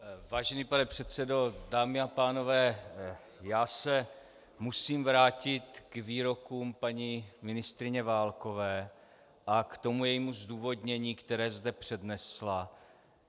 Vážený pane předsedo, dámy a pánové, já se musím vrátit k výrokům paní ministryně Válkové a k tomu jejímu zdůvodnění, které zde přednesla.